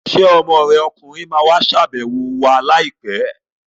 Ṣé ọmọ rẹ ọkùnrin ma wá ṣàbẹ̀wọ̀ wa láìpẹ́ l?